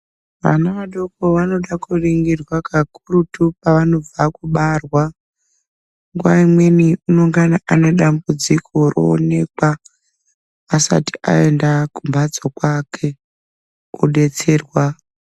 Vana vadoko vanoda ku ringirwa ka kurutu pa vanobva kubarwa nguva imweni unongana ane dambudziko roonekwa asati ayenda kumbatso kwake odetserwa.